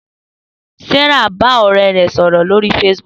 Sarah bá ọ̀rẹ́ rẹ̀ sọ̀rọ̀ lórí Facebook